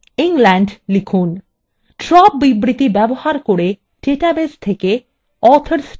4 drop বিবৃতি ব্যবহার করে ডাটাবেস থেকে authors table মুছে দিন